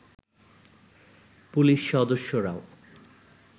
police সদস্যরাও